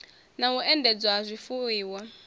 na u endedzwa ha zwifuiwa